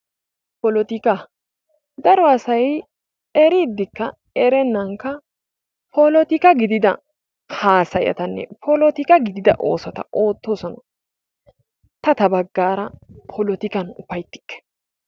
Polotikaa, daro asay eriiddikka erennankka polotikka gidida haasayatanne polotika gidida oosota oottoosona. Ta ta baggara polotikkan ufayttikke.